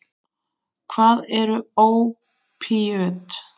Hvað eru ópíöt?